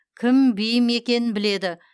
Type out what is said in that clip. кім бейім екенін біледі